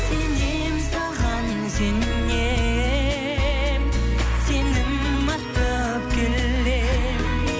сенем саған сенем сенім артып келем